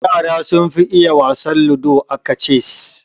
Yara sun fi iya wasar ludo aka cess